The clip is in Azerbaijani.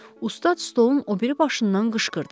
Ustad stolun o biri başından qışqırdı.